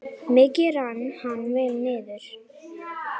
Mikið rann hann vel niður.